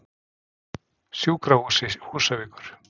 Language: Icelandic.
Sjúkrahúsi Húsavíkur